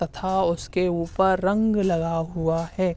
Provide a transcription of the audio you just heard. तथा उसके उपर रंग लगा हुवा है।